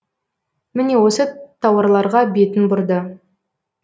міне осы тауарларға бетін бұрды